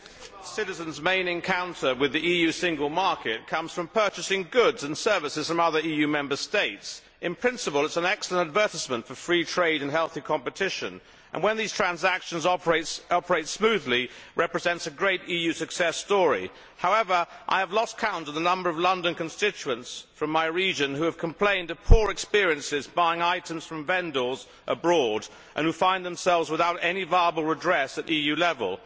Madam President, many of our citizens' main encounter with the EU single market comes from purchasing goods and services from other EU Member States. In principle, it is an excellent advertisement for free trade and healthy competition, and when these transactions operate smoothly it represents a great EU success story. However, I have lost count of the number of London constituents from my region who have complained of poor experiences when buying items from vendors abroad and who find themselves without any viable redress at EU level.